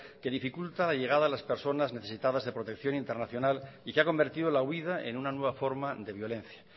que dificulta la llegada de las personas necesitadas de protección internacional y que ha convertido la huída en una nueva forma de violencia